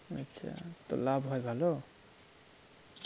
আচ্ছা তো লাভ হয় ভালো?